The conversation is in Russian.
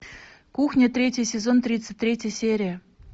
кухня третий сезон тридцать третья серия